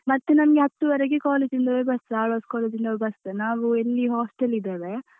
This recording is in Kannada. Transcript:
ಮತ್ತೆ ನಮ್ಗೆ ಹತ್ತುವರೆಗೆ college ಯಿಂದವೇ bus ಆಳ್ವಾಸ್ college ಯಿಂದವೇ bus ನಾವು ಇಲ್ಲಿ hostel ಇದ್ದಾವೆ.